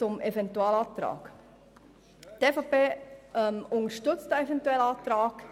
Der Eventualantrag wird von der EVP unterstützt.